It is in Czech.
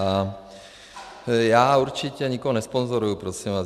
A já určitě nikoho nesponzoruju, prosím vás.